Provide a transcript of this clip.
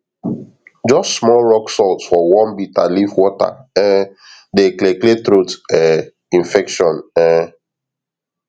just small rock salt for warm bitter leaf water um dey clear clear throat um infection um